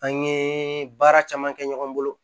An ye baara caman kɛ ɲɔgɔn bolo